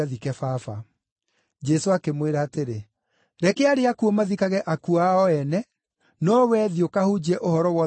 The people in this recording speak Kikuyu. Jesũ akĩmwĩra atĩrĩ, “Reke arĩa akuũ mathikage akuũ ao ene, no wee thiĩ ũkahunjie ũhoro wa ũthamaki wa Ngai.”